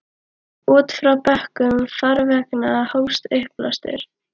Út frá bökkum farveganna hófst uppblástur.